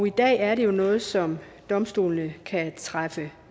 i dag er det jo noget som domstolene kan træffe